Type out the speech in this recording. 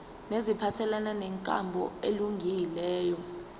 neziphathelene nenkambo elungileyo